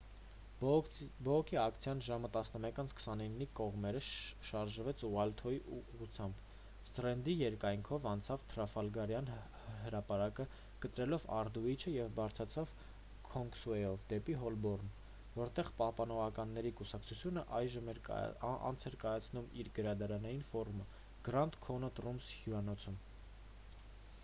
բողոքի ակցիան ժամը 11:29-ի կողմերը շարժվեց ուայթհոլի ուղղությամբ սթրենդի երկայնքով անցավ թրաֆալգարյան հրապարակը՝ կտրելով ալդուիչը և բարձրանալով քինգսուեյով դեպի հոլբորն որտեղ պահպանողականների կուսակցությունը անց էր կացնում իր գարնանային ֆորումը grand connaught rooms հյուրանոցում: